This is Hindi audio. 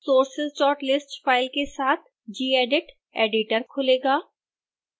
sourceslist फाइल के साथ gedit editor खुलेगा